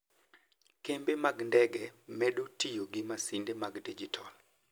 Kembe mag ndege medo tiyo gi masinde mag digital.